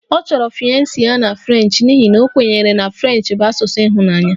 Ọ chọrọ fiance ya na French n'ihi na a kwenyere na French bụ asụsụ ịhụnanya